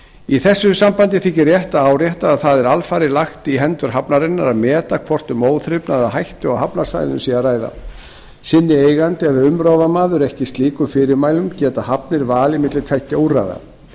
í þessu sambandi þykir rétt að árétta að það er alfarið lagt í hendur hafnarinnar að meta hvort um óþrifnað eða hættu á hafnarsvæðinu sé að ræða sinni eigandi eða umráðamaður ekki slíkum fyrirmælum geta hafnir valið milli tveggja úrræða